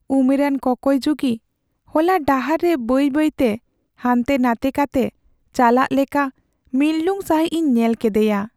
ᱩᱢᱮᱨᱟᱱ ᱠᱚᱠᱚᱭ ᱡᱩᱜᱤ ᱦᱚᱞᱟ ᱰᱟᱦᱟᱨ ᱨᱮ ᱵᱟᱹᱭ ᱵᱟᱹᱭᱛᱮ ᱦᱟᱱᱛᱮ ᱱᱟᱛᱮ ᱠᱟᱛᱮ ᱪᱟᱞᱟᱜ ᱞᱮᱠᱟ ᱢᱤᱨᱞᱩᱝ ᱥᱟᱹᱦᱤᱡ ᱤᱧ ᱧᱮᱞ ᱠᱮᱫᱮᱭᱟ ᱾